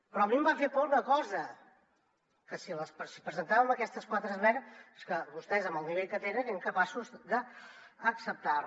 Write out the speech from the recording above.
perquè a mi em va fer por una cosa que si presentàvem aquestes quatre esmenes vostès amb el nivell que tenen eren capaços d’acceptar les